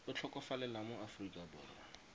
a tlhokofalela mo aforika borwa